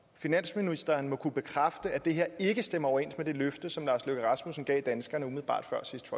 finansministeren må kunne bekræfte at det her ikke stemmer overens med det løfte som lars løkke rasmussen gav danskerne umiddelbart